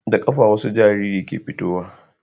Da kafa wasu jariri ke fitowa